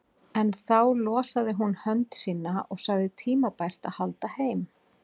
En þá losaði hún hönd sína og sagði tímabært að halda heim.